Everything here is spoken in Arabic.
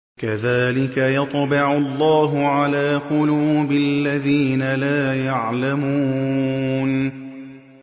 كَذَٰلِكَ يَطْبَعُ اللَّهُ عَلَىٰ قُلُوبِ الَّذِينَ لَا يَعْلَمُونَ